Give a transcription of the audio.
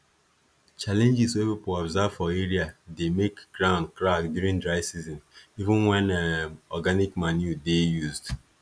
challenges wey people observe for area dey make ground crack during dry season even when um organic manure dey used